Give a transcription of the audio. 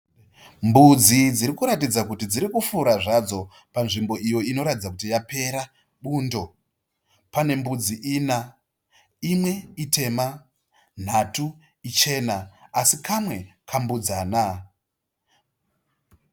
Mbudzi dziri kuratidza kuti dziri kufura zvado, pazvimbo iyo ino ratidza kuti yapera bundo . Pane mbudzi ina , imwe itema , nhatu ichana asi kamwe kambudzana.